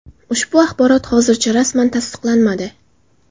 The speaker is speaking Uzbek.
Ushbu axborot hozircha rasman tasdiqlanmadi.